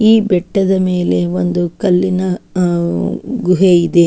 ಈ ಬೆಟ್ಟದ ಮೇಲೆ ಒಂದು ಕಲ್ಲಿನ ಅಹ್ ಗುಹೆಯಿದೆ.